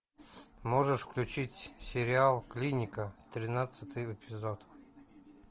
можешь включить сериал клиника тринадцатый эпизод